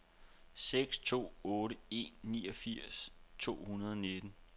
seks to otte en niogfirs to hundrede og nitten